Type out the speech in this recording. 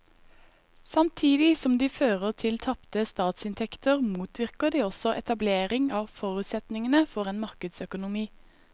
Samtidig som de fører til tapte statsinntekter motvirker de også etablering av forutsetningene for en markedsøkonomi.